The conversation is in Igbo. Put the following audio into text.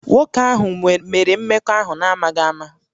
Nwoke ahụ mere mmekọahụ n'amaghị ama